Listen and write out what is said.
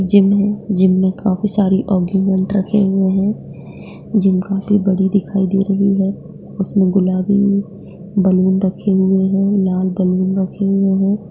Gym है gym में काफी सारे आर्गुमेंट रखे हुए हैं जिम काफी बड़ी दिखाई दे रही है उसमें गुलाबी बैलून रखे हुए हैं लाल बैलून रखे हुए हैं।